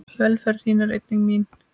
Velferð þín er einnig mín.